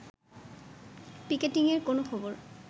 পিকেটিংয়ের কোনো খবর